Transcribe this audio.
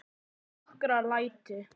Já, að nokkru leyti.